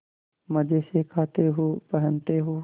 मजे से खाते हो पहनते हो